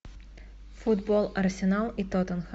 футбол арсенал и тоттенхэм